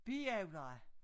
Biavler